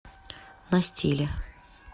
на стиле